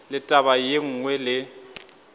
le taba ye nngwe le